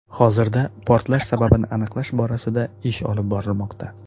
Hozirda portlash sababini aniqlash borasida ish olib borilmoqda.